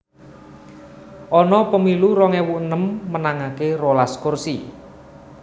Ana pemilu rong ewu enem menangaké rolas kursi